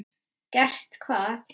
Gert hvað?